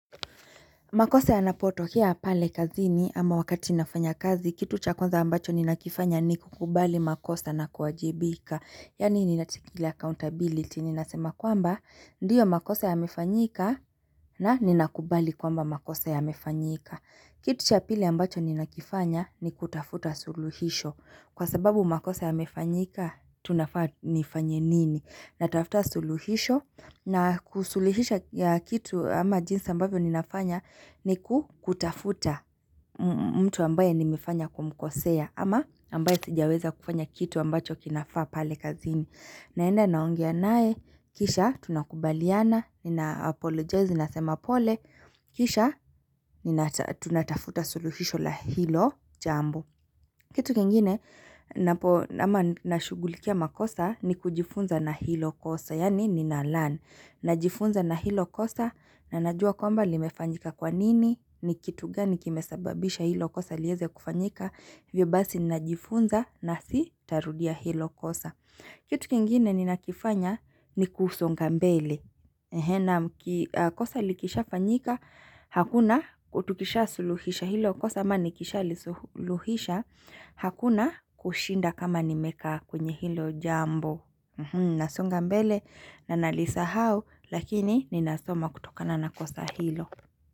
Makosa yanapotokea pale kazini ama wakati nafanya kazi, kitu chakwanza ambacho ninakifanya ni kukubali makosa na kuwajibika. Yani ninatiki ile accountability, ninasema kwamba, ndiyo makosa yamefanyika na ninakubali kwamba makosa yamefanyika. Kitu chapili ambacho ninakifanya ni kutafuta suluhisho. Kwa sababu makosa yamefanyika, tunafaa tunafanya nini. Natafuta suluhisho na kusuluhisha kitu ama jinsi ambavyo ninafanya ni kutafuta mtu ambaye nimifanya kumkosea ama ambaye sijaweza kufanya kitu ambacho kinafaa pale kazini. Naenda naongea nae, kisha tunakubaliana, ni na apologize, ni nasema pole, kisha tunatafuta suluhisho la hilo jambo. Kitu kengine nama nashugulikia makosa ni kujifunza na hilo kosa, yani nina learn. Najifunza na hilo kosa na najua kwamba limefanyika kwanini, ni kitu gani kimesababisha hilo kosa liyeze kufanyika, hivyo basi najifunza na sitarudia hilo kosa. Kitu kingine ninakifanya ni kusonga mbele. Kosa likishafanyika, hakuna kutukisha suluhisha hilo. Kosa mani kisha li suluhisha, hakuna kushinda kama nimeka kwenye hilo jambo. Nasonga mbele, na nalisahau, lakini ni nasoma kutokana na kosa hilo.